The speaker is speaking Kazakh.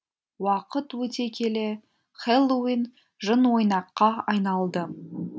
уақыт өте келе хэллоуин жынойнаққа айналды